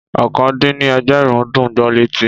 Ọ̀kàn dín ní ẹgbẹ̀rún dùn gbó létí